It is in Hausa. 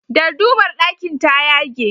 Dardumar ɗakin ta yage.